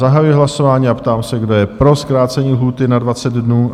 Zahajuji hlasování a ptám se, kdo je pro zkrácení lhůty na 20 dnů?